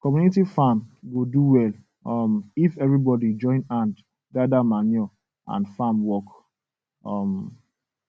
community farm go do well um if everybody join hand gather manure and farm work um